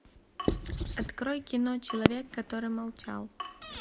открой кино человек который молчал